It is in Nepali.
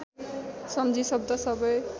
सम्झी शब्द सबै